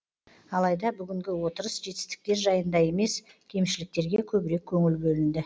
алайда бүгінгі отырыс жетістіктер жайында емес кемшіліктерге көбірек көңіл бөлінді